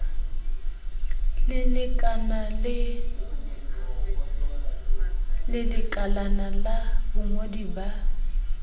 le lekalana la bongodi ba